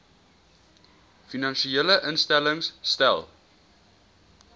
finansiële instellings stel